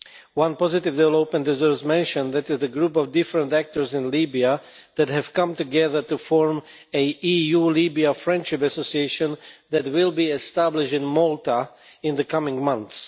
One positive development, as was mentioned, is the group of different actors in Libya that has come together to form an EU-Libya friendship association that will be established in Malta in the coming months.